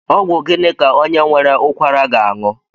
Ọgwụ gịnị ka onye nwere ụkwara ga-aṅụ?